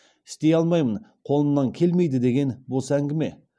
істей алмаймын қолымнан келмейді деген бос әңгіме